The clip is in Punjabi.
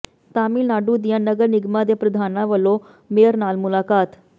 ਤਾਮਿਲਨਾਡੂ ਦੀਆਂ ਨਗਰ ਨਿਗਮਾਂ ਦੇ ਪ੍ਰਧਾਨਾਂ ਵੱਲੋਂ ਮੇਅਰ ਨਾਲ ਮੁਲਾਕਾਤ